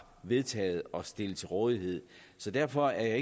vedtaget at stille til rådighed derfor er